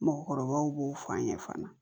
Mɔgɔkɔrɔbaw b'o fɔ an ɲɛnɛ fana